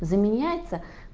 заменяется